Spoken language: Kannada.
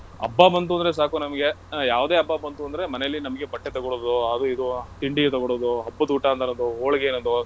ಹಬ್ಬ ಬಂತು ಅಂದ್ರೆ ಸಾಕು ನಮ್ಗೆ ಯಾವುದೇ ಹಬ್ಬ ಬಂತು ಅಂದ್ರೆ ಮನೆಲ್ಲಿ ನಮಗೆ ಬಟ್ಟೆ ತಗೊಳುದು , ಅದು ಇದು ತಿಂಡಿ ತಗೊಳುದು, ಹಬ್ಬದೂಟ , ಹೋಳಿಗೆ ತರುವುದು, sweet .